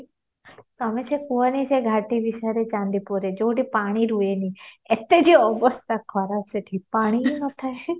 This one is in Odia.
ତମେ ସେ କୁହନି ସେ ଘାଟୀ ବିଷୟରେ ଚାନ୍ଦିପୁରରେ ଯୋଉଠି ପାଣି ରୁହେନି ଏତେ ଯେ ଅବସ୍ଥା ଖରାପ ସେଠି ପାଣି ବି ନଥାଏ